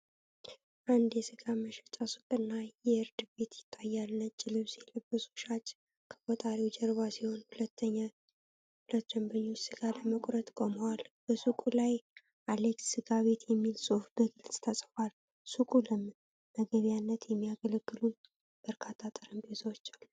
አንድ የሥጋ መሸጫ ሱቅና የእርድ ቤት ይታያል። ነጭ ልብስ የለበሰ ሻጭ ከቆጣሪው ጀርባ ሲሆን፣ ሁለት ደንበኞች ሥጋ ለማስቆረጥ ቆመዋል። በሱቁ ላይ 'አሌክስ ስጋ ቤት' የሚል ጽሑፍ በግልጽ ተጽፏል። ሱቁ ለመመገቢያነት የሚያገለግሉ በርካታ ጠረጴዛዎች አሉት።